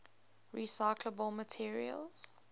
recyclable materials